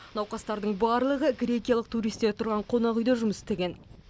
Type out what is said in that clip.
науқастың барлығы грекиялық туристер тұрған қонақ үйде жұмыс істеген